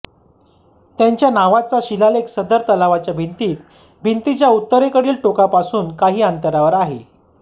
त्यांच्या नावाचा शिलालेख सदर तलावाच्या भिंतीत भिंतीच्या उत्तरेकडील टोकापासून काहि अंतरावर आहे